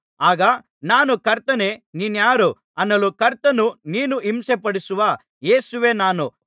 ಆಗ ನಾನು ಕರ್ತನೇ ನೀನಾರು ಅನ್ನಲು ಕರ್ತನು ನೀನು ಹಿಂಸೆಪಡಿಸುವ ಯೇಸುವೇ ನಾನು